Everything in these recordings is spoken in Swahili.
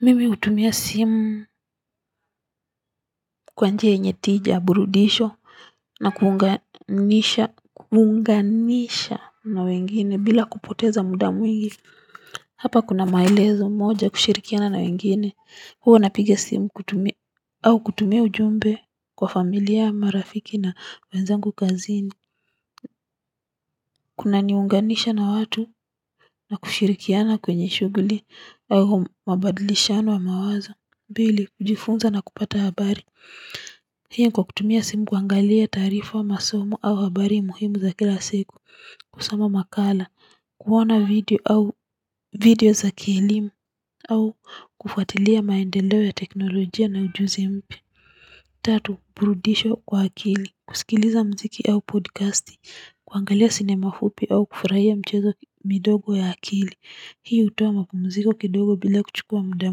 Mimi hutumia simu kwa njia yenye tija burudisho na kuunganisha kuunganisha na wengine bila kupoteza muda mwingi. Hapa kuna maelezo moja kushirikiana na wengine huwa napiga simu kutumia au kutumia ujumbe kwa familia marafiki na wenzangu kazini. Kunaniunganisha na watu na kushirikiana kwenye shughuli au mabadilishano ya mawaza mbili kujifunza na kupata habari hii ni kwa kutumia simu kuangalia tarifa wa masomo au habari muhimu za kila siku kusoma makala kuona video au video za kielimu au kufuatilia maendeleo ya teknolojia na ujuzi mpya tatu burudisho kwa akili kusikiliza mziki au podcasti kuangalia sinema fupi au kufurahia mchezo midogo ya akili hii hutoa mapumziko kidogo bila kuchukua muda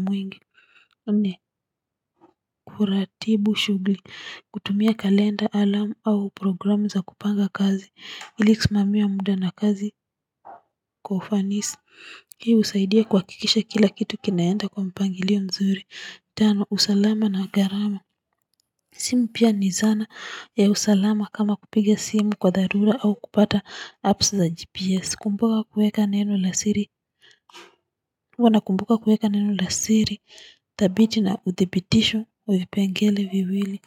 mwingi nne kuratibu shughuli kutumia kalenda alarm au programu za kupanga kazi ili kusimamia muda na kazi kwa ufanisi hii husaidia kuhakikisha kila kitu kinaenda kwa mpangilio mzuri tano usalama na gharama si mpya ni zana ya usalama kama kupiga simu kwa dharura au kupata apps za gps kumbuka kuweka neno la siri huwa nakumbuka kuweka neno la siri, thabiti na uthibitisho wa vipengele viwili.